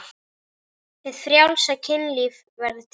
Hið frjálsa kynlíf verður til.